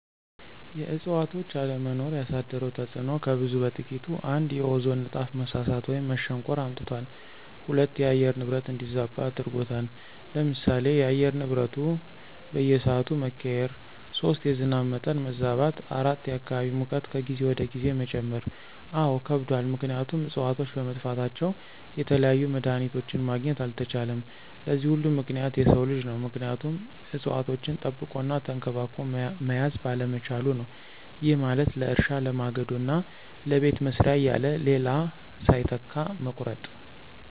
የእዕፅዋቶች አለመኖር ያሳደረው ተፅዕኖ ከብዙ በጥቂቱ፦ ፩) የኦዞን ንጣፍ መሳሳት ወይም መሸንቆር አምጥቷል። ፪) የአየር ንብረት እንዲዛባ አድርጎታል። ለምሳሌ፦ የአየር ንብረቱ በየስዓቱ መቀያየር። ፫) የዝናብ መጠን መዛባት። ፬) የአካባቢ ሙቀት ከጊዜ ወደ ጊዜ መጨመር። አዎ ከብዷል ምክንያቱም እፅዋቶች በመጥፋታቸው የተለያዩ መድሀኒቶችን ማግኘት አልተቻለም። ለዚህ ሁሉ ምክንያት የሰው ልጅ ነው ምክንያቱም እፅዋቶችን ጠብቆ እና ተንከባክቦ መያዝ ባለመቻሉ ነው። ይህ ማለት ለእርሻ፣ ለማገዶ እና ለቤት መስሪያ እያለ ሌላ ሳይተካ መቁረጡ።